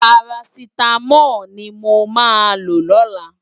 Párásitámòl ni mó má ló lòlá